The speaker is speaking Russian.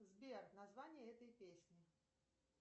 сбер название этой песни